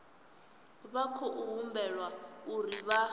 vha khou humbelwa uri vha